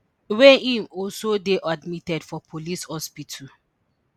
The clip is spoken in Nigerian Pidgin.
wey he also dey admitted for police hospital